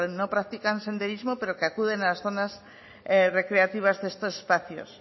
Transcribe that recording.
no practican senderismo pero que acuden a las zonas recreativas de estos espacios